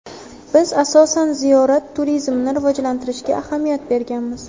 Biz, asosan, ziyorat turizmini rivojlantirishga ahamiyat berganmiz.